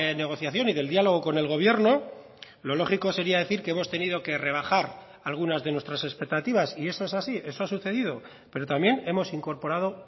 negociación y del diálogo con el gobierno lo lógico sería decir que hemos tenido que rebajar algunas de nuestras expectativas y eso es así eso ha sucedido pero también hemos incorporado